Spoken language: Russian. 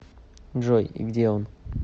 джой и где он